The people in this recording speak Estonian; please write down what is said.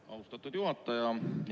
Austatud juhataja!